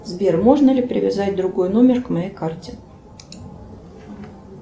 сбер можно ли привязать другой номер к моей карте